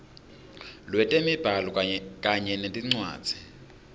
lwetemibhalo kanye nencwadzi